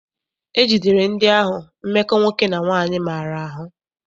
E jidere ndị ahụ mmekọ nwoke na nwaanyị maara ahụ.